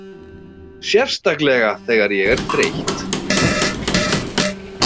Sérstaklega þegar ég er þreytt.